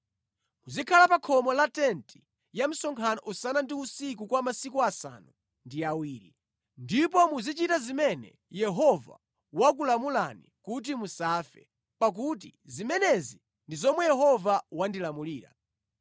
Muzikhala pa khomo la tenti ya msonkhano usana ndi usiku kwa masiku asanu ndi awiri. Ndipo muzichita zimene Yehova wakulamulani kuti musafe, pakuti zimenezi ndi zomwe Yehova wandilamulira.”